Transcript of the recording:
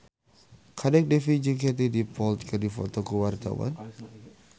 Kadek Devi jeung Katie Dippold keur dipoto ku wartawan